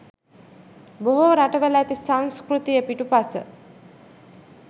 බොහෝ රටවල ඇති සංස්කෘතිය පිටුපස